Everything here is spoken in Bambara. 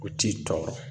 U t'i tɔɔrɔ